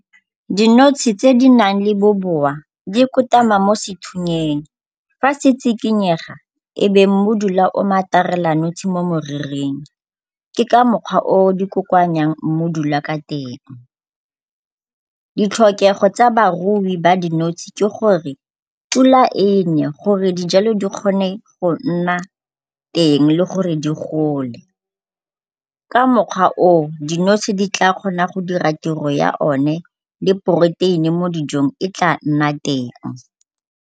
Dinotshe tse di nang le bobowa di kotama mo sethunyeng. Fa se tshikinyega ebe mmodula o matarela notshe mo moriring. Ke ka mokgwa o di kokoanyang mmodula ka teng. Ditlhokego tsa barui ba dinotshe ke gore pula e ne gore dijalo di kgone go nna teng le gore di gole. Ka mokgwa oo, dinotshe di tla kgona go dira tiro ya o ne le protein-e mo dijong e tla nna teng.